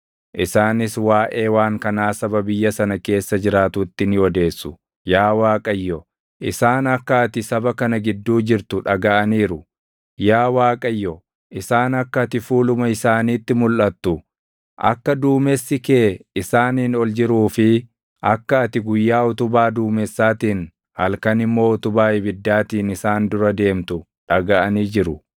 Isaanis waaʼee waan kanaa saba biyya sana keessa jiraatutti ni odeessu. Yaa Waaqayyo, isaan akka ati saba kana gidduu jirtu dhagaʼaniiru; yaa Waaqayyo isaan akka ati fuuluma isaaniitti mulʼatu, akka duumessi kee isaaniin ol jiruu fi akka ati guyyaa utubaa duumessaatiin, halkan immoo utubaa ibiddaatiin isaan dura deemtu dhagaʼanii jiru.